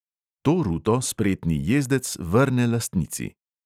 To ruto spretni jezdec vrne lastnici.